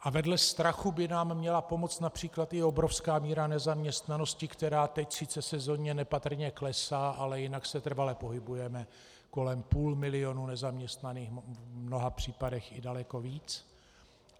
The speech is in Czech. A vedle strachu by nám měla pomoct například i obrovská míra nezaměstnanosti, která teď sice sezónně nepatrně klesá, ale jinak se trvale pohybuje kolem půl milionu nezaměstnaných, v mnoha případech i daleko víc.